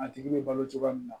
A tigi bɛ balo cogoya min na